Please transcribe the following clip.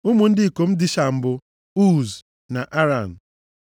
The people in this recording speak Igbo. Ụmụ ndị ikom Dishan bụ, Uz na Aran.